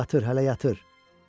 Yatır, hələ yatır.